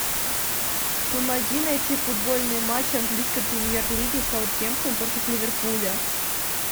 помоги найти футбольный матч английской премьер лиги саутгемптон против ливерпуля